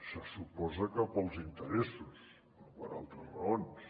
se suposa que pels interessos no per altres raons